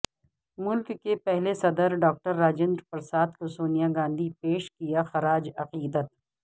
ملک کے پہلے صدر ڈاکٹر راجندرپرساد کوسونیا گاندھی پیش کیا خراج عقیدت